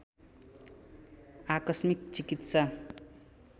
आकस्मिक चिकित्सा